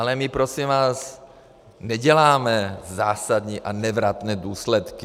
Ale my prosím vás neděláme zásadní a nevratné důsledky.